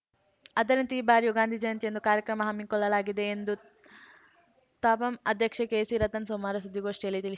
ಅದರಂತೆ ಈ ಬಾರಿಯೂ ಗಾಂಧಿ ಜಯಂತಿಯಂದು ಕಾರ್ಯಕ್ರಮ ಹಮ್ಮಿಕೊಳ್ಳಲಾಗಿದೆ ಎಂದು ತಾಪಂ ಅಧ್ಯಕ್ಷೆ ಕೆಸಿ ರತನ್‌ ಸೋಮವಾರ ಸುದ್ದಿಗೋಷ್ಠಿಯಲ್ಲಿ ತಿಳಿಸಿ